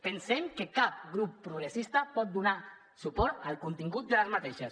pensem que cap grup progressista pot donar suport al contingut d’aquestes